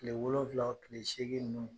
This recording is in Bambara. Tile wolonwula, tile seegin ninnu